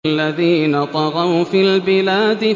الَّذِينَ طَغَوْا فِي الْبِلَادِ